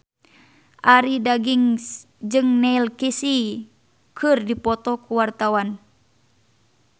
Arie Daginks jeung Neil Casey keur dipoto ku wartawan